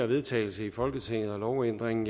vedtagelse i folketinget og i lovændringen